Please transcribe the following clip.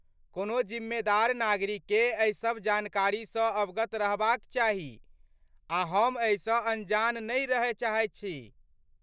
कोनो जिम्मेदार नागरिककेँ एहि सभ जानकारीसँ अवगत रहबाक चाही आ हम एहिसँ अनजान नहि रहय चाहैत छी।